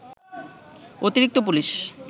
অতিরিক্ত পুলিশ